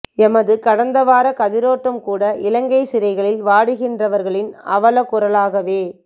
எமது கடந்த வார கதிரோட்டம் கூட இலங்கைச் சிறைகளில் வாடுகின்றவர்களின் அவலக் குரலாகவே